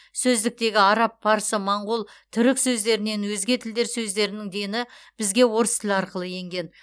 сөздіктегі араб парсы моңғол түрік сөздерінен өзге тілдер сөздерінің дені бізге орыс тілі арқылы енген